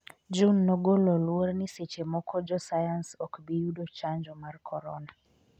June nogolo luor ni seche moko jo sayans ok bi yudo chanjo mar korona